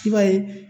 I b'a ye